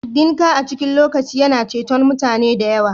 Dinka a cikin lokaci yana ceton mutane da yawa